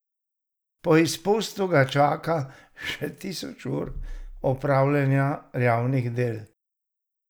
Po izpustu ga čaka še tisoč ur opravljanja javnih del.